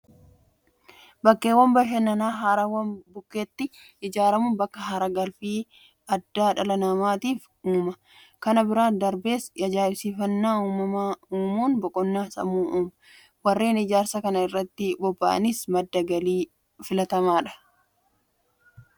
Bakkeewwan bashannanaa haroowwan bukkeetti ijaaramuun bakka haaragalfii addaa dhala namaatiif uuma. Kana bira darbees ajaa'ibsiifannaa uumamaa uumuun boqonnaa sammuu uuma. Warreen Ijaarsa kana irratti bobba'aniifis madda galii filatamsadha. Bakkeewwan bashannanaa naannoo keenyaa haala kamiin kunuunsuu qabna?